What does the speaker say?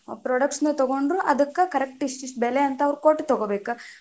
Products ನ ತಗೊಂಡ್ರು ಅದಕ್ಕ correct ಇಷ್ಟ ಇಷ್ಟ ಬೆಲೆ ಅಂತ ಅವ್ರ್ ಕೊಟ್ಟ ತಗೊಬೇಕ.